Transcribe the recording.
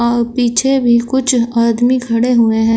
और पीछे भी कुछ आदमी खड़े हुए हैं।